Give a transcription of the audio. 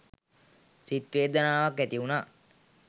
සිත් වේදනාවක් ඇති වුණා.